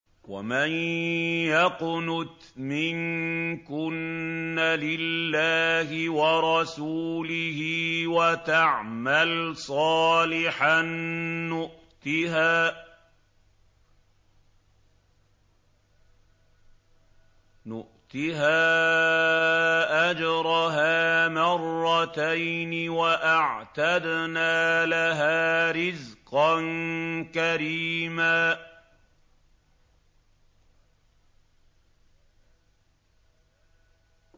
۞ وَمَن يَقْنُتْ مِنكُنَّ لِلَّهِ وَرَسُولِهِ وَتَعْمَلْ صَالِحًا نُّؤْتِهَا أَجْرَهَا مَرَّتَيْنِ وَأَعْتَدْنَا لَهَا رِزْقًا كَرِيمًا